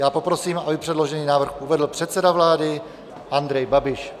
Já poprosím, aby předložený návrh uvedl předseda vlády Andrej Babiš.